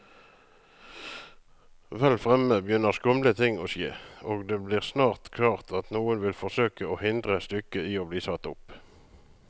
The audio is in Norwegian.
Vel fremme begynner skumle ting å skje, og det blir snart klart at noen vil forsøke å hindre stykket i bli satt opp.